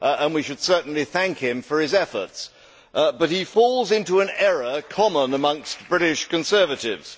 We should certainly thank him for his efforts, but he falls into an error common amongst British Conservatives.